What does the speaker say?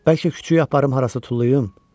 Bəlkə küçəyə aparım harasa tullayım?